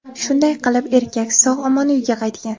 Shunday qilib, erkak sog‘-omon uyga qaytgan.